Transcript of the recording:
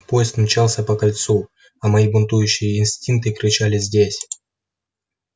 поезд мчался по кольцу а мои бунтующие инстинкты кричали здесь